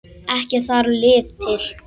Ekki þarf lyf til.